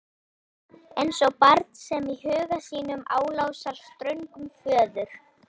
Eins og barn sem í huga sínum álasar ströngum föður.